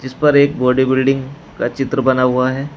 जिसपर एक body building का चित्र बना हुआ है।